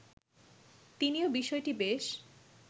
তিনিও বিষয়টি বেশ